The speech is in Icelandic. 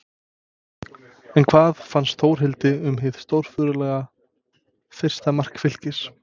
En hvað fannst Þórhildi um hið stórfurðulega fyrsta mark Fylkis?